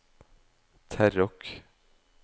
Terråk